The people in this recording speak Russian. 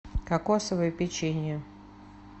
кокосовое печенье